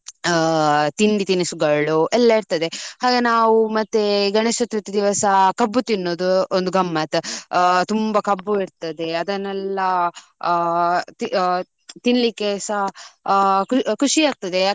ಆ ತಿಂಡಿ ತಿನಿಸುಗಳು ಎಲ್ಲ ಇರ್ತದೆ. ಹಾಗೆ ನಾವು ಮತ್ತೆ ಗಣೇಶ್ ಚತುರ್ಥಿ ದಿವಸ ಕಬ್ಬು ತಿನ್ನುದು ಒಂದು ಗಮ್ಮತ್. ಆ ತುಂಬಾ ಕಬ್ಬು ಇರ್ತದೆ. ಅದನ್ನೆಲ್ಲ ಅ ಆ ತಿನ್ಲಿಕೆ ಸಹ ಅ ಖುಷಿ ಆಗ್ತದೆ.